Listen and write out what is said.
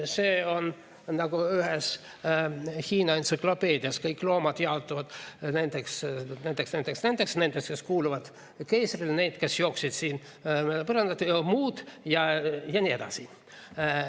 See on nagu ühes Hiina entsüklopeedias: kõik loomad jaotuvad nendeks, nendeks, nendeks ja nendeks, kes kuuluvad keisrile, nendeks, kes jooksid põrandal, ja muud ja nii edasi.